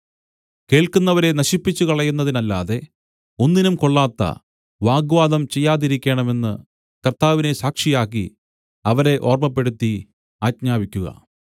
കേൾക്കുന്നവരെ നശിപ്പിച്ചുകളയുന്നതിനല്ലാതെ ഒന്നിനും കൊള്ളാത്ത വാഗ്വാദം ചെയ്യാതിരിക്കേണമെന്ന് കർത്താവിനെ സാക്ഷിയാക്കി അവരെ ഓർമ്മപ്പെടുത്തി ആജ്ഞാപിക്കുക